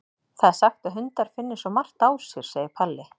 Það er sagt að hundar finni svo margt á sér, segir Palli.